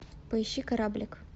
поищи кораблик